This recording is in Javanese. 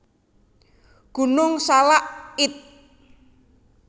Gunung Salak id